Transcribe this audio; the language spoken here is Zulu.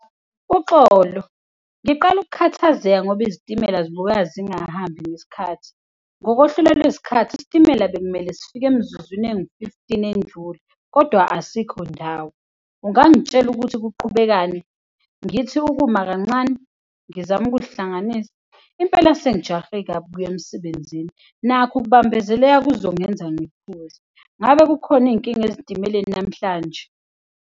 Uxolo, ngiqala ukukhathazeka ngoba izitimela zibukeka zingahambi ngesikhathi. Ngokohlelo lwezikhathi, isitimela bekumele sifike emzuzwnini engu-fifteen endlule kodwa asikho ndawo. Ungangitshela ukuthi kuqhubekani? Ngithi ukuma kancane ngizame ukuzihlanganisa? Impela sengijahe kabi kuya emsebenzini, nakho ukubambezeleka kuzongenza . Ngabe kukhona iy'nkinga ezitimeleni namhlanje?